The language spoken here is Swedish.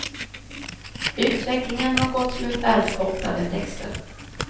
Utvecklingen har gått mot allt kortare texter.